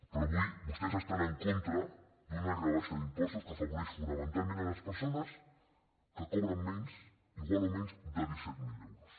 però avui vostès estan en contra d’una rebaixa d’impostos que afavoreix fonamentalment les persones que cobren menys igual o menys de disset mil euros